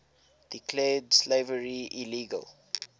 declared slavery illegal